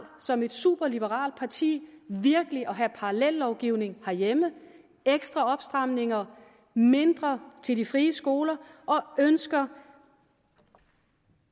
som et superliberalt parti virkelig at have parallellovgivning herhjemme med ekstra opstramninger og mindre til de frie skoler og ønsker